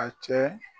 A cɛ